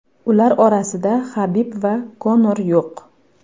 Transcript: Ular orasida Habib va Konor yo‘q.